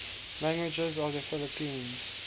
languages of the philippines